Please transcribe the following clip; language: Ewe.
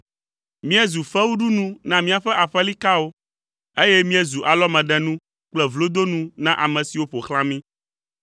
Míezu fewuɖunu na míaƒe aƒelikawo, eye míezu alɔmeɖenu kple vlodonu na ame siwo ƒo xlã mí.